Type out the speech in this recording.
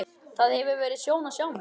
Það hefur verið sjón að sjá mig.